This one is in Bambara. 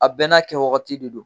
A bɛɛ n'a kɛwagati de don.